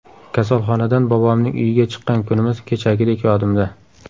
Kasalxonadan bobomning uyiga chiqqan kunimiz kechagidek yodimda.